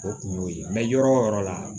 O kun y'o ye yɔrɔ o yɔrɔ la